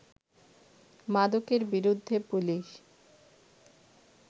মাদকের বিরুদ্ধে পুলিশ